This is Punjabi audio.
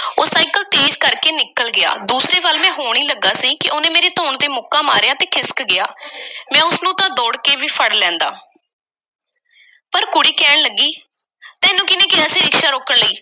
ਸਾਈਕਲ ਤੇਜ਼ ਕਰ ਕੇ ਨਿਕਲ ਗਿਆ। ਦੂਸਰੇ ਵੱਲ ਮੈਂ ਹੋਣ ਈ ਲੱਗਾ ਸੀ ਕਿ ਉਹਨੇ ਮੇਰੀ ਧੌਣ ਉੱਤੇ ਮੁੱਕਾ ਮਾਰਿਆ ਤੇ ਖਿਸਕ ਗਿਆ। ਮੈਂ ਉਸ ਨੂੰ ਤਾਂ ਦੌੜ ਕੇ ਵੀ ਫੜ ਲੈਂਦਾ, ਪਰ ਕੁੜੀ ਕਹਿਣ ਲੱਗੀ, ਤੈਨੂੰ ਕਿਹਨੇ ਕਿਹਾ ਸੀ ਰਿਕਸ਼ਾ ਰੋਕਣ ਲਈ,